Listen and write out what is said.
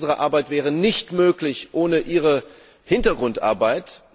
Unsere Arbeit wäre nicht möglich ohne Ihre Hintergrundarbeit.